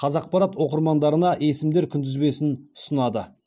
қазақпарат оқырмандарына есімдер күнтізбесін ұсынады